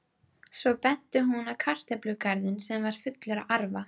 Svo benti hún á kartöflugarðinn sem var fullur af arfa.